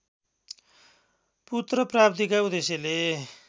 पुत्र प्राप्तिका उद्देश्यले